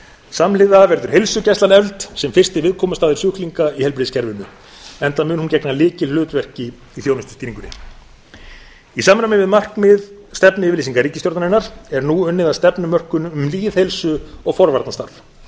samhliða verður heilsugæslan efld sem fyrsti viðkomustaður sjúklinga í heilbrigðiskerfinu enda mun hún gegna lykilhlutverki í þjónustustýringunni í samræmi við markmið stefnuyfirlýsingar ríkisstjórnarinnar er nú unnið að stefnumörkun um lýðheilsu og forvarnastarf